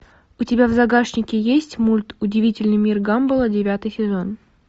у тебя в загашнике есть мульт удивительный мир гамбола девятый сезон